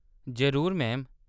जरूर, मैम।